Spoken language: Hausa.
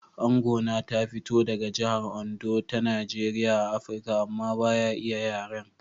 Angona ta fito daga jihar Ondo ta Najeriya a Afirka amma ba ya iya yaren.